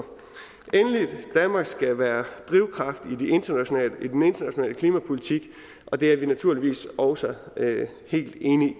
danmark skal være drivkraft i international klimapolitik og det er vi naturligvis også helt enige